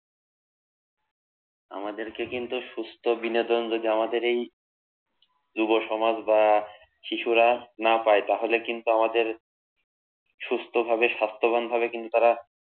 আমাদেরকে কিন্তু সুস্থ বিনোদন যদি আমাদের এই যুবসমাজ বা শিশুরা না পায় তাহলে কিন্তু আমাদের সুস্থভাবে স্বাস্থ্যবান ভাবে কিন্তু তারা